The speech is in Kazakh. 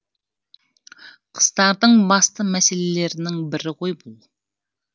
қыздардың басты мәселелерінің бірі ғой бұл